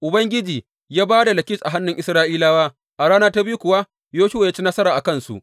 Ubangiji ya ba da Lakish a hannun Isra’ilawa, a rana ta biyu kuwa Yoshuwa ya ci nasara a kansu.